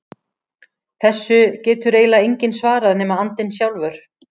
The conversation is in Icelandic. Þessu getur eiginlega enginn svarað nema andinn sjálfur.